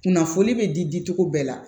Kunnafoni be di di cogo bɛɛ la